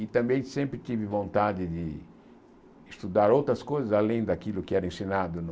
E também sempre tive vontade de estudar outras coisas, além daquilo que era ensinado no...